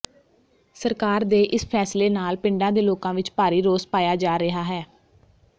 ਸਰਕਾਰ ਦੇ ਇਸ ਫੈਸਲੇ ਨਾਲ ਪਿੰਡਾਂ ਦੇ ਲੋਕਾਂ ਵਿੱਚ ਭਾਰੀ ਰੋਸ ਪਾਇਆ ਜਾ ਰਿਹਾ ਹੈ